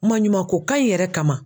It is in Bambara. Maɲumanko kan in yɛrɛ kama